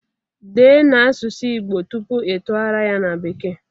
Dee n'asusu Igbo tupu itugharia ya na bekee